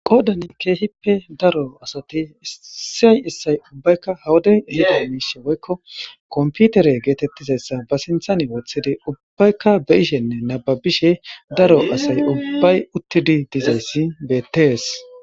qoodani keehippe daro asati issay issay ubbaykka hawaday ihida miishe woykko komputere geetettizayssa ba sinthani wothidi ubbaykka be ishenne nababishe daro asay ubbay uttidi dizayssi beettees